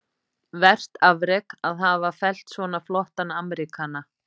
vert afrek, að hafa fellt svona flottan Ameríkana.